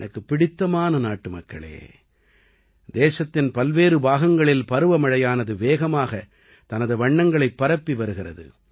எனக்குப் பிடித்தமான நாட்டுமக்களே தேசத்தின் பல்வேறு பாகங்களில் பருவமழையானது வேகமாக தனது வண்ணங்களைப் பரப்பி வருகிறது